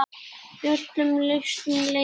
Í öllum listum leynist leikur.